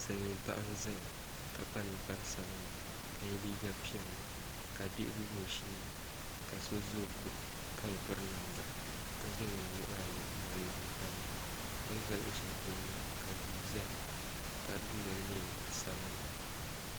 Silmiin paɣa n ʒɛya ka kpa ninkpari sabinli ka yɛ liiga piɛlli ka bihi gbubi o sheeni ka so ʒɛ o ko ka bi piri namda ka zaŋ o nuhi ayi n laɣam tabi ni bin ʒɛ luɣu shɛli polo maa ka duu ʒɛya ka di dundoli nyɛ zaɣ sabinli